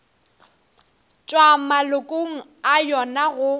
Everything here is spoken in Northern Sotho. tšwa malokong a yona go